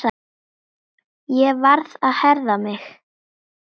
Ég varð að herða mig.